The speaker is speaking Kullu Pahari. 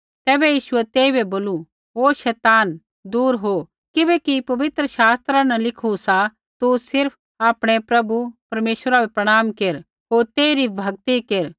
तैबै यीशुऐ तेइबै बोलू ओ शैतान दूर हो किबैकि पवित्र शास्त्रा न लिखू सा तू सिर्फ़ आपणै प्रभु परमेश्वरा बै प्रणाम केर होर तेइरी भक्ति केर